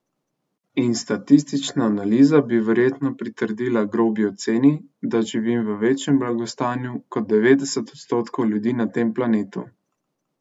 In statistična analiza bi verjetno pritrdila grobi oceni, da živim v večjem blagostanju kot devetdeset odstotkov ljudi na tem planetu.